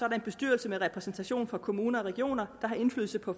en bestyrelse med repræsentation fra kommuner og regioner der har indflydelse på